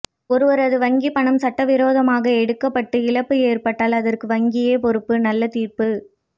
ஒருவரது வங்கி பணம் சட்டவிரோதமாக எடுக்கப்பட்டு இழப்பு ஏற்பட்டால் அதற்கு வங்கியே பொறுப்பு நல்ல தீர்ப்பு